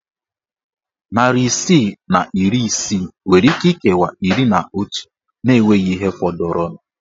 Narị isii na iri isii nwere íké ikewa iri na otu na enweghị ihe fọdụrụnụ.